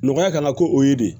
Nɔgɔya kana ko o ye de